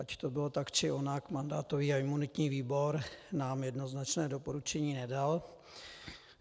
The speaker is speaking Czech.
Ať to bylo tak, či onak, mandátový a imunitní výbor nám jednoznačné doporučení nedal.